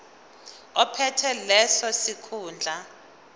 ophethe leso sikhundla